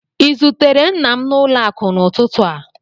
I zutere nna m n'ụlọ akụ n'ụtụtụ a?